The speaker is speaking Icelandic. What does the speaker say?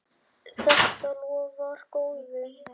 Þetta lofar góðu.